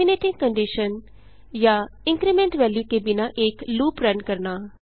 terminating condition या increment value के बिना एक लूप रन करना